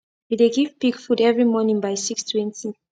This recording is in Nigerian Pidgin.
we dey give pig food every morning by six twenty